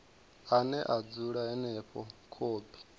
ane a dzula henefho khophi